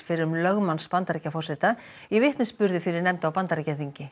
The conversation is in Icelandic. fyrrum lögmanns Bandaríkjaforseta í vitnisburði fyrir nefnd á Bandaríkjaþingi